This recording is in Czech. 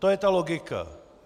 To je ta logika.